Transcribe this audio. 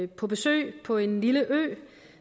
på besøg på en lille ø